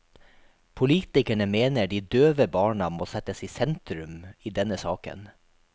Politikerne mener de døve barna må settes i sentrum i denne saken.